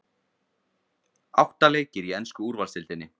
Átta leikir í ensku úrvalsdeildinni